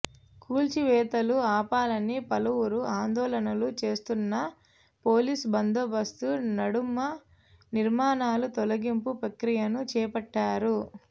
కూల్చివేతలు ఆపాలని పలువురు ఆందోళనలు చేస్తున్నా పోలీసు బందోబస్తు నడుమ నిర్మాణాల తొలగింపు ప్రక్రియను చేపట్టారు